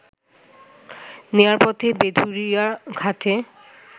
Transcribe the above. নেয়ার পথে ভেদুরিয়া ঘাটে